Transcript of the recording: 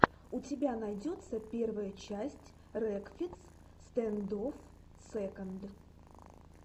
у тебя найдется первая часть рекфиц стэндофф сэконд